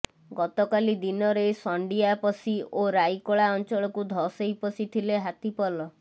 ଗତକାଲି ଦିନରେ ସଣ୍ଡିଆପଶି ଓ ରାଇକଳା ଅଞ୍ଚଳକୁ ଧସେଇ ପଶିଥିଲେ ହାତୀ ପଲ